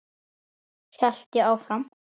hélt ég áfram.